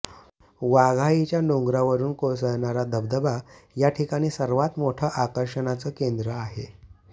वाघाईच्या डोंगरावरून कोसळणारा धबधबा या ठिकाणी सर्वात मोठं आकर्षणाचं केंद्र आहे